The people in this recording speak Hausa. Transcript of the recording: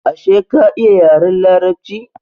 Ashe ka iya yaren larabci?